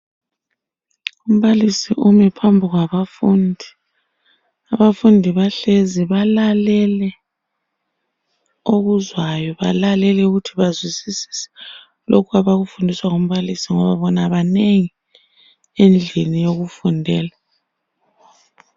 Umbalisi ume phambi kwabafundi, abafundi bahlezi balalele okuzwayo balalele ukuthi bazwisise lokhu abakufundiswa ngumbalisi ngoba bona banengi endlini yokufundela.